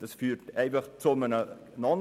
Das ist einfach ein No-Go.